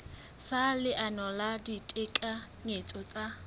sa leano la ditekanyetso tsa